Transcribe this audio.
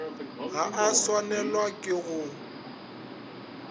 ga a swanelwa ke go